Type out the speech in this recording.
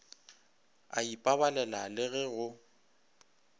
a ipabalela le ge go